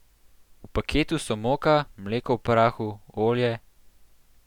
V paketu so moka, mleko v prahu, olje ...